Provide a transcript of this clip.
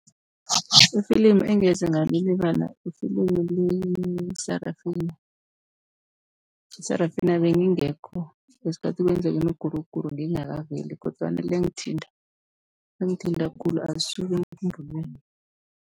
Ifilimu engeze ngalilibala ifilimu le-Sarafina. I-Sarafina beyingekho ngesikhathi kwenzeka imiguruguru, beyingakaveli kodwana liyangithinta, lingithinta khulu alisuki emkhumbulweni.